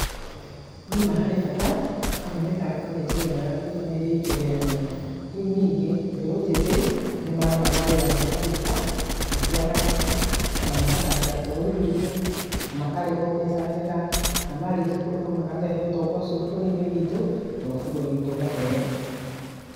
Nĩma harĩ bata, amu mĩthako nĩ njĩra ĩmwe ya kũiga mĩrĩ itu ĩrĩ na hinya. Rĩu ningĩ, mbeũ njĩthĩ nĩ marona mawĩra nakũu nja, thĩĩ cia nanja , ona magathakĩra bũrũri witũ, makarĩhũo mbeca njega na marĩkia kũrĩhũo makarehe ũtonga ũcio bũrũri-inĩ witũ, nagũo bũrũri witũ ũgatherema.